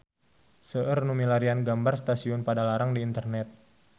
Seueur nu milarian gambar Stasiun Padalarang di internet